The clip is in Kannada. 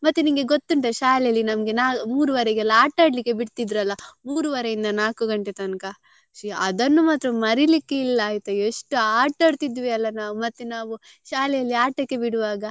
ಮತ್ತೆ ನಿಂಗೆ ಗೊತ್ತುಂಟ ಶಾಲೆಯಲ್ಲಿ ನಮ್ಗೆ ನಾ~ ಮೂರುವರೆಗೆಲ್ಲ ಆಟ ಆಡ್ಲಿಕ್ಕೆ ಬಿಡ್ತ್ ಇದ್ರಲ್ಲ ಮೂರೂವರೆ ಇಂದ ನಾಕು ಗಂಟೆ ತನ್ಕ ಶೀ ಅದನ್ನು ಮಾತ್ರ ಮರಿಲಿಕ್ಕೆ ಇಲ್ಲ ಆಯ್ತಾ ಎಷ್ಟು ಆಟ ಆಡ್ತಿದ್ವಿ ಅಲ್ಲ ನಾವ್ ಮತ್ತೆ ನಾವ್ ಶಾಲೆಯಲ್ಲಿ ಆಟಕ್ಕೆ ಬಿಡುವಾಗ.